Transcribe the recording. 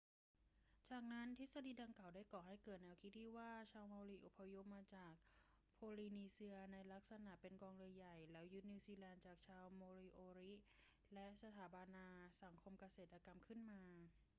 จากนั้นทฤษฎีดังกล่าวได้ก่อให้เกิดแนวคิดที่ว่าชาวเมารีอพยพมาจากโพลีนีเซียในลักษณะเป็นกองเรือใหญ่ แล้วยึดนิวซีแลนด์จากชาวโมริโอริและสถาปนาสังคมเกษตรกรรมขึ้นมา